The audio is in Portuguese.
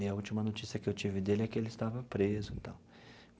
E a última notícia que eu tive dele é que ele estava preso e tal.